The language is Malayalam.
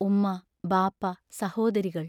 ഉമ്മ, ബാപ്പ, സഹോദരികൾ.